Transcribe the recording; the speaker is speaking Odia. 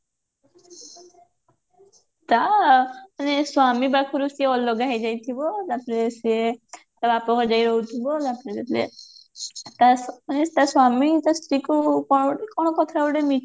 ତା ମାନେ ସ୍ଵାମୀ ପାଖରୁ ସିଏ ଅଲଗା ହେଇଯାଇଥିବ ତାପରେ ସିଏ ତା ବାପଘରେ ଯାଇ ରହୁଥିବ ତା ମାନେ ତା ସ୍ଵାମୀ ତା ସ୍ତ୍ରୀକୁ